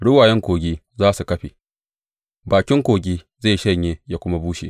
Ruwayen kogi za su ƙafe, bakin kogi zai shanye yă kuma bushe.